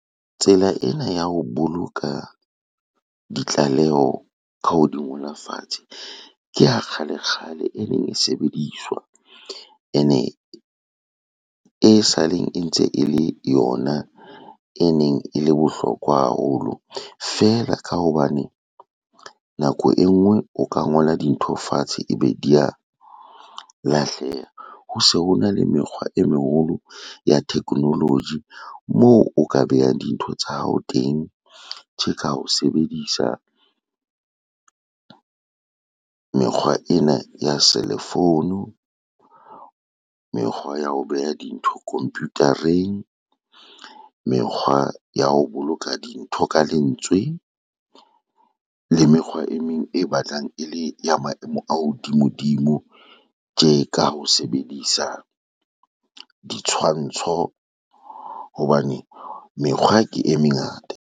Tsela ena ya ho boloka ditlaleho ka ho di ngola fatshe ke ya kgalekgale e neng e sebediswa ene e saleng, e ntse e le yona e neng e le bohlokwa haholo fela ka hobane nako e ngwe o ka ngola dintho fatshe, ebe di a lahleha. Ho se ho na le mekgwa e meholo ya technology moo o ka behang dintho tsa hao teng, tje ka o sebedisa mekgwa ena ya selefounu, mekgwa ya ho beha dintho komputareng, mekgwa ya ho boloka dintho ka lentswe le mekgwa e meng e batlang e le ya maemo a hodimodimo, tje ka ho sebedisa ditshwantsho hobane mekgwa ke e mengata.